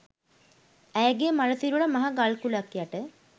ඇයගේ මළ සිරුර මහ ගල්කුළක් යට